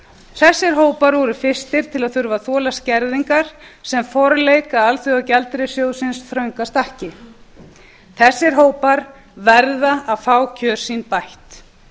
þessir hópar voru fyrstir til að þurfa að þola skerðingar sem forleik að alþjóðagjaldeyrissjóðsins þrönga stakki þessir hópar verða að fá kjör sín bætt